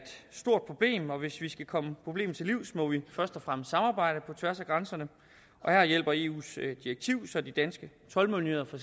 stort problem og hvis vi skal komme problemet til livs må vi først og fremmest samarbejde på tværs af grænserne og her hjælper eus direktiv så de danske toldmyndigheder for